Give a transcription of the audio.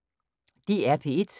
DR P1